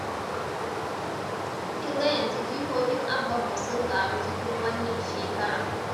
Kin ga yanzu jikokin Abbanmu sun ƙaru cikin wannan shekara.